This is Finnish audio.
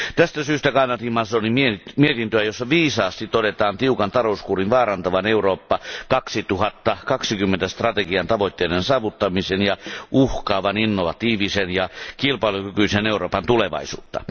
Tästä syystä kannatin Mazzonin mietintöä, jossa viisaasti todetaan tiukan talouskuurin vaarantavan Eurooppa 2020 strategian tavoitteiden saavuttamisen ja uhkaavan innovatiivisen ja kilpailukykyisen Euroopan tulevaisuutta.